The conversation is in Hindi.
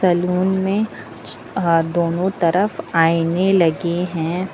सैलून में दोनों तरफ आईने लगे हैं।